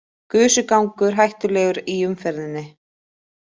Gusugangur hættulegur í umferðinni